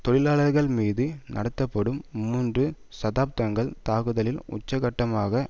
தொழிலாளர்கள்மீது நடத்தப்படும் மூன்று சதாப்தங்கள் தாக்குதலின் உச்சக்கட்டமாக